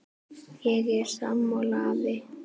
Ég er sammála afa.